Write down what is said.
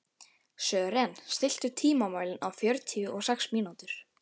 Sören, stilltu tímamælinn á fjörutíu og sex mínútur.